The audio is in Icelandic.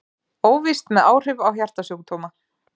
Óvíst með áhrif á hjartasjúkdóma